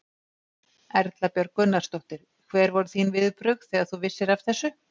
Erla Björg Gunnarsdóttir: Hver voru þín viðbrögð þegar þú vissir af þessu?